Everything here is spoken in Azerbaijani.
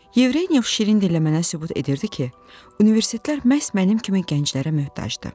Yevrenyov şirin dillə mənə sübut edirdi ki, universitetlər məhz mənim kimi gənclərə möhtacdır.